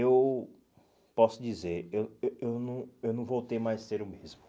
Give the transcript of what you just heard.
Eu posso dizer, eu eh eu não eu não voltei mais a ser o mesmo.